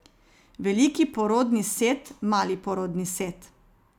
Veliki porodni set, mali porodni set.